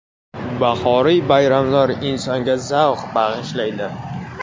Bahoriy bayramlar insonga zavq bag‘ishlaydi!